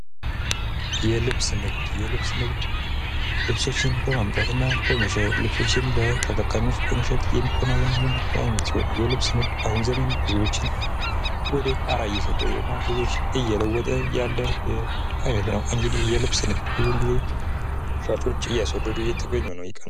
የልብስ ንግድ የልብስ ንግድ ልብሶችን በማምጣት እና በመሸጥ ልብሶችን ለተጠቃሚዎች በመሸጥ የሚከናወን የንግድ አይነት ሲሆን የልብስ ንግድ ባሁን ዘመን ብዙዎችን ወደ ጣሪያ እየሰደደ እና ብዙዎችን እየለወጠ ያለ የንግድ አይነት ነው እንግዲህ የልብስ ንግድ ሻጮች እያስወደዱ እየተገኙ ነው።